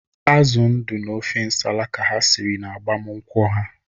Azụ ndụ na ọfa nsala ka ha siri n'agbamnkwu ha.